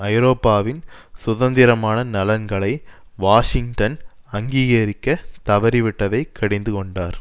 ஐரோப்பாவின் சுதந்திரமான நலன்களை வாஷிங்டன் அங்கீகரிக்க தவறிவிட்டதை கடிந்துகொண்டார்